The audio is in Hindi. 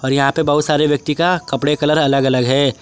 यहां पे बहुत सारे व्यक्ति का कपड़े कलर अलग अलग है।